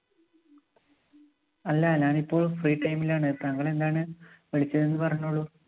അല്ല, ഞാനിപ്പോള്‍ free time ലാണ്. താങ്കള്‍ എന്താണ് വിളിച്ചതെന്ന് പറഞ്ഞോളൂ.